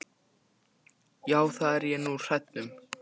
Já, það er ég nú hræddur um.